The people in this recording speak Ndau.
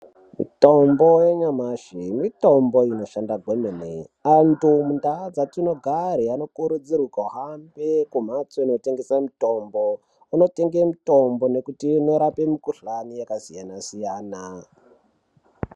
Mitombo yanyamashi mitombo inoshanda kwemene. Antu mundau dzatinogare anokurudzirwa kuhambe kumhatso dzinotengese mitombo, vondotenge mitombo nekuti inorape mukhuhlane yakasiyana-siyana.